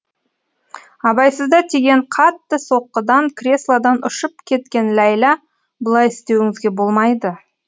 абайсызда тиген қатты соққыдан креслодан ұшып кеткен ләйлә бұлай істеуіңізге болмайды